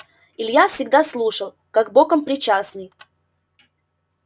илья всегда слушал как боком причастный